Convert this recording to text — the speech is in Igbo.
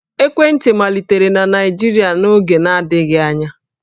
Ekwentị malitere na Naịjirịa n'oge na-adịghị anya